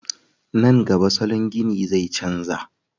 Nan gaba salon gini zai canja